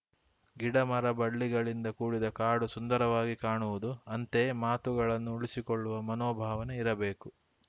ಗಿಡ ಮರ ಬಳ್ಳಿಗಳಿಂದ ಕೂಡಿದ ಕಾಡು ಸುಂದರವಾಗಿ ಕಾಣುವುದು ಅಂತೆಯೇ ಮಾತುಗಳನ್ನು ಉಳಿಸಿಕೊಳ್ಳುವ ಮನೋಭಾವನೆ ಇರಬೇಕು